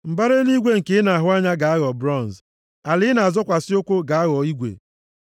Mbara eluigwe nke ị na-ahụ anya ga-aghọ bronz, ala ị na-azọkwasị ụkwụ gị ga-aghọ igwe.